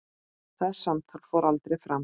Það samtal fór aldrei fram.